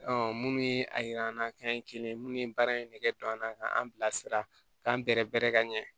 munnu ye a yira an na k'an ye kelen ye munnu ye baara in nege don an na k'an bila sira k'an bɛrɛ bɛrɛ ka ɲɛ